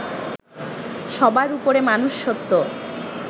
সবার উপরে মানুষ সত্য